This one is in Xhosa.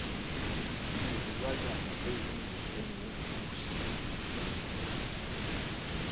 izilwa nyana ezinjengeegusha